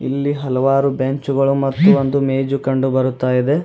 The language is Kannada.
ಇಲ್ಲಿ ಹಲವಾರು ಬೆಂಚುಗಳು ಮತ್ತು ಒಂದು ಮೇಜು ಕಂಡು ಬರುತ್ತಾ ಇದೆ.